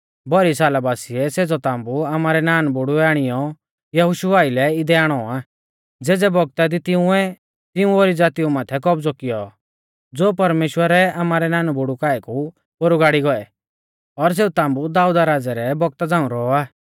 भौरी साला बासीऐ सेज़ौ ताम्बु आमारै नानबुड़ुऐ आणियौ यहोशु आइलै इदै आणौ आ ज़ेज़ै बौगता दी तिंउऐ तिऊं ओरी ज़ातीऊ माथै कौबज़ौ कियौ ज़ो परमेश्‍वरै आमारै नानबुड़ु काऐ कु पोरु गाड़ी गौऐ और सेऊ ताम्बु दाऊदा राज़ै रै बौगता झ़ांऊ रौ आ